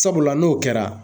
Sabula n'o kɛra.